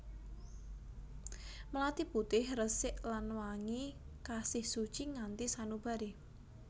Melati putih resik lan wangi kasih suci nganti sanubari